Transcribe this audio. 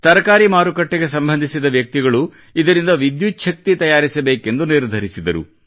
ತರಕಾರಿ ಮಾರುಕಟ್ಟೆಗೆ ಸಂಬಂಧಿಸಿದ ವ್ಯಕ್ತಿಗಳು ಇದರಿಂದ ವಿದ್ಯುಚ್ಛಕ್ತಿ ತಯಾರಿಸಬೇಕೆಂದು ನಿರ್ಧರಿಸಿದರು